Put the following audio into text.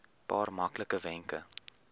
paar maklike wenke